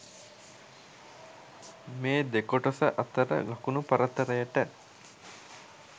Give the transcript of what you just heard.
මේ දෙකොටස අතර ලකුණු පරතරයට